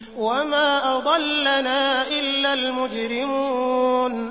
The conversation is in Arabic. وَمَا أَضَلَّنَا إِلَّا الْمُجْرِمُونَ